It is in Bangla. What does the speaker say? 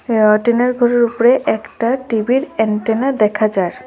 টিনের ঘরের উপরে একটা টিভির এন্টেনা দেখা যার।